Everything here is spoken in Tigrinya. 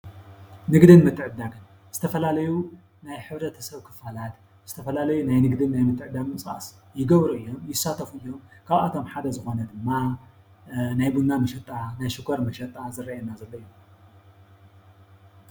ንግድን ምትዕድዳግን ዝተፈላለዩ ናይ ሕብረተሰብ ክፋላት ዝተፈላለዩ ናይ ንግድን ምትዕድዳግን ምንቅስቓስ ይገብሩ እዮም። ይሳተፉ እዮም። ካብኣቶም ሓደ ዝኾነ ድማ ናይ ቡና መጨጣ፣ ናይ ሽኳር መጨጣ ዝርኣየና ዘሎ እዩ።